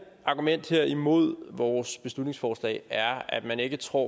argument imod vores beslutningsforslag er at man ikke tror